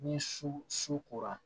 Ni su sukora